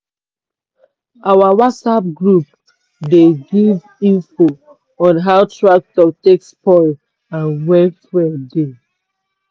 our whatsapp group dey give info on how tractor take spoil and when fuel dey.